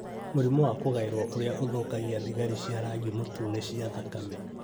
Mũrimũ wa kũgaĩrũo ũrĩa ũthũkagia thigari cia rangi mũtune cia thakame